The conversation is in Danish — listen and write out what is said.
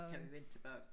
Kan vi vende tilbage